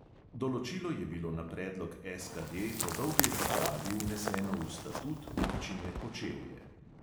Določilo je bilo na predlog SKD po dolgi razpravi vneseno v statut občine kočevje.